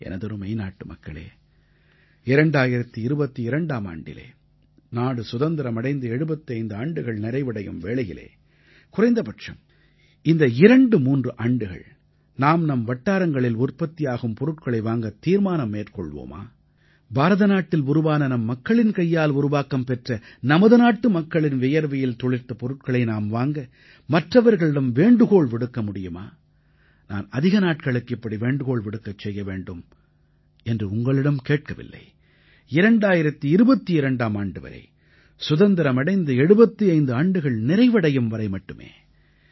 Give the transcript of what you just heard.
எனதருமை நாட்டுமக்களே 2022ஆம் ஆண்டிலே நாடு சுதந்திரம் அடைந்து 75 ஆண்டுகள் நிறைவடையும் வேளையிலே குறைந்தபட்சம் இந்த 23 ஆண்டுகள் நாம் நம் வட்டாரங்களில் உற்பத்தியாகும் பொருட்களை வாங்கத் தீர்மானம் மேற்கொள்வோமா பாரதநாட்டில் உருவான நம் மக்களின் கைகளால் உருவாக்கம் பெற்ற நமது நாட்டு மக்களின் வியர்வையில் துளிர்த்த பொருட்களை நாம் வாங்க மற்றவர்களிடம் வேண்டுகோள் விடுக்க முடியுமா நான் அதிக நாட்களுக்கு இப்படி வேண்டுகோள் விடுக்க செய்ய வேண்டும் என்று உங்களிடம் கேட்கவில்லை 2022ஆம் ஆண்டு வரை சுதந்திரம் அடைந்து 75 ஆண்டுகள் நிறைவடையும் வரை மட்டுமே